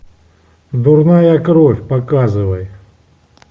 дурная кровь показывай